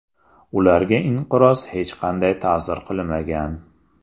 Ularga inqiroz hech qanday ta’sir qilmagan.